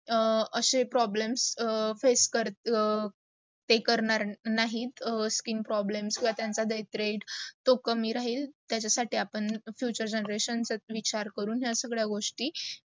अशे problems face करत ते करणार नाहीत skin problems किव्वा त्यांचे death rate तो कमी राहील. त्याचा साठी आपण future generations चा विचार करून या सगडा गोष्टी